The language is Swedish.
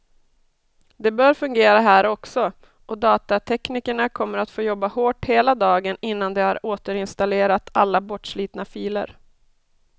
Det bör fungera här också, och datateknikerna kommer att få jobba hårt hela dagen innan de har återinstallerat alla bortslitna filer.